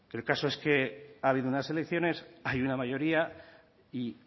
el caso es que ha habido unas elecciones hay una mayoría y